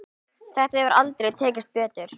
Þetta hefur aldrei tekist betur.